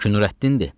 Bu ki Nurəddindir.